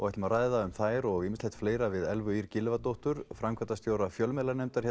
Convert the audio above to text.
ætlum að ræða um þær og ýmislegt fleira við Elfu Ýr Gylfadóttur framkvæmdastjóra fjölmiðlanefndar